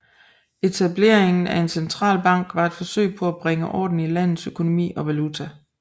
Etableringen af en centralbank var et forsøg på at bringe orden i landets økonomi og valuta